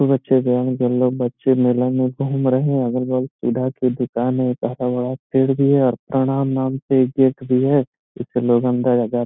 बच्चे जाएंगे बच्चे मेला में घूम रहे है अगल-बगल सुधा के दुकान है ज्यादा बड़ा पेड़ भी है और नाम से गेट भी है इससे लोग अंदर जाते --